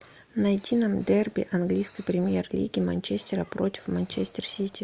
найти нам дерби английской премьер лиги манчестера против манчестер сити